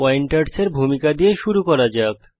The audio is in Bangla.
পয়েন্টারসের ভূমিকা দিয়ে শুরু করা যাক